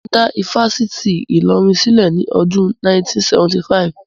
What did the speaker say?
Wọ́n dá ifásitì Ìlọrin sílẹ̀ ní ọdún 1975